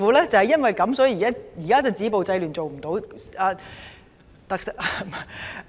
亦正因如此，現時政府止暴制亂的工作尚未做好。